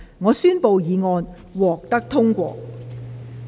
我宣布議案獲得通過。